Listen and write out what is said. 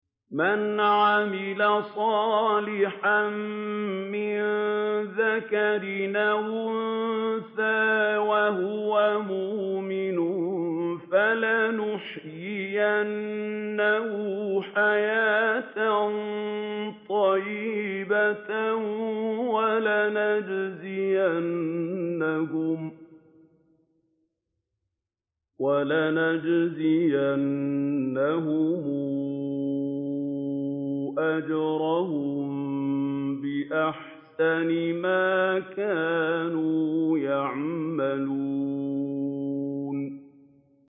مَنْ عَمِلَ صَالِحًا مِّن ذَكَرٍ أَوْ أُنثَىٰ وَهُوَ مُؤْمِنٌ فَلَنُحْيِيَنَّهُ حَيَاةً طَيِّبَةً ۖ وَلَنَجْزِيَنَّهُمْ أَجْرَهُم بِأَحْسَنِ مَا كَانُوا يَعْمَلُونَ